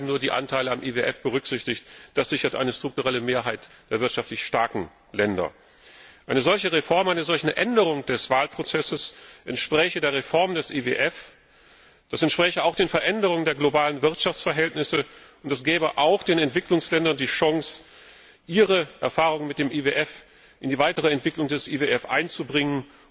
Bisher werden nur die Anteile am IWF berücksichtigt, was eine strukturelle Mehrheit der wirtschaftlich starken Länder sichert. Eine solche Reform, eine solche Änderung des Wahlverfahrens entspräche der Reform des IWF, das entspräche auch den Veränderungen der globalen Wirtschaftsverhältnisse und das gäbe auch den Entwicklungsländern die Chance, ihre Erfahrungen mit dem IWF in die weitere Entwicklung des IWF einzubringen.